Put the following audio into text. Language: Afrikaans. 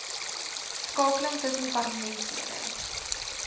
skakeling tussen parlementslede